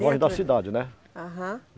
Longe da cidade, né? aham